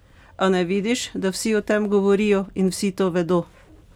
A ne vidiš, da vsi o tem govorijo in vsi to vedo?